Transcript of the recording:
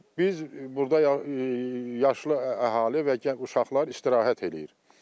Biz, biz burda yaşlı əhali və uşaqlar istirahət eləyir.